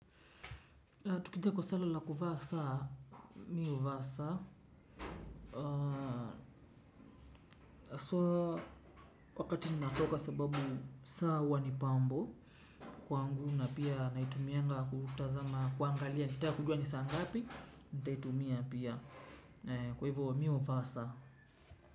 Tukija kwa swali la kuvaa saa, mimi huvaa saa haswa wakati ninatoka sababu saa huwa ni pambo. Kwangu na pia naitumianga kutazama kuangalia nikitaka kujua ni saa ngapi, nitaitumia pia. Kwa hivyo mimi huvaa saa.